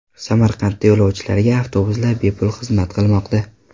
Samarqandda yo‘lovchilarga avtobuslar bepul xizmat qilmoqda.